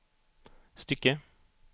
stycke